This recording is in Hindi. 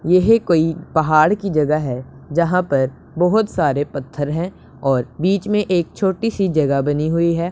येह कोई पहाड़ की जगह है जहां पर बहोत सारे पत्थर हैं और बीच में एक छोटी सी जगह बनी हुई है।